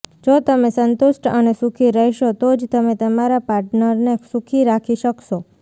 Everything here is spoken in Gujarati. જો તમે સંતુષ્ટ અને સુખી રહેશો તો જ તમે તમારા પાર્ટનરને સુખી રાખી શકશો